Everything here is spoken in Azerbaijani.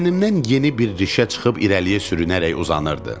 Bədənimdən yeni bir rişə çıxıb irəliyə sürünərək uzanırdı.